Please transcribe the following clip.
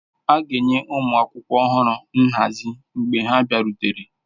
A ga-enye ụmụ akwụkwọ ọhụrụ nhazi mgbe ha bịarutere.